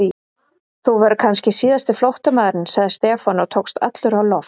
Þú verður kannski síðasti flóttamaðurinn sagði Stefán og tókst allur á loft.